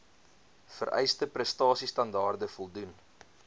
vereiste prestasiestandaarde voldoen